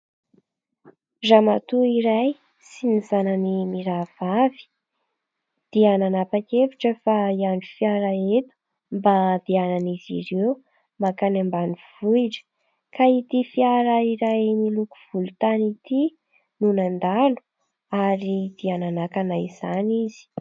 Ramatoa iray sy ny zanany mirahavavy dia nanapa-kevitra fa hiandry fiara eto mba andehanan'izy ireo mankany ambanivohitra ka ity fiara iray miloko volontany ity no nandalo ary dia nanakana izany izy.